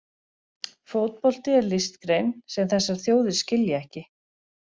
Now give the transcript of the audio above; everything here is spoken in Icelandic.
Fótbolti er listgrein sem þessar þjóðir skilja ekki.